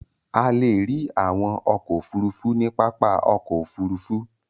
A le rí àwọn ọkọ̀-òfurufú ní pápá ọkọ̀-òfurufú.